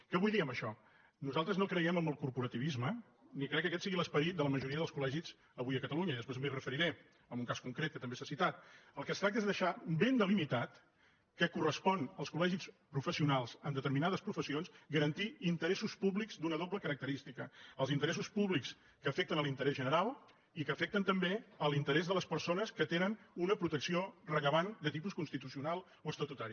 què vull dir amb això nosaltres no creiem en el corporativisme ni crec que aquest sigui l’esperit de la majoria dels col·legis avui a catalunya i després m’hi referiré amb un cas concret que també s’ha citat del que es tracta és de deixar ben delimitat que correspon als col·legis professionals en determinades professions garantir interessos públics d’una doble característica els interessos públics que afecten l’interès general i que afecten també l’interès de les persones que tenen una protecció rellevant de tipus constitucional o estatutari